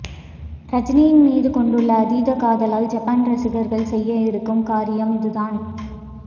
ரஜினியின் மீது கொண்டுள்ள அதீத காதலால் ஜப்பான் ரசிகர்கள் செய்ய இருக்கும் காரியம் இது தான்